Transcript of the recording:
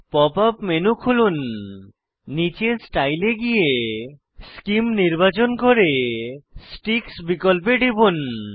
pop up menu খুলুন নীচে style এ গিয়ে সেমে নির্বাচন করে স্টিকস বিকল্পে টিপুন